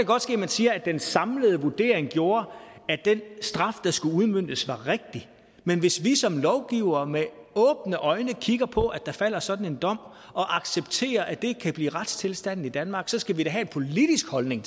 godt ske at man siger at den samlede vurdering gjorde at den straf der skulle udmøntes var rigtig men hvis vi som lovgivere med åbne øjne kigger på at der falder sådan en dom og accepterer at det kan blive retstilstanden i danmark skal vi da have en politisk holdning